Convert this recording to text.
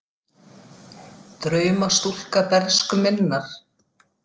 Drauma stúlka bernsku minnar.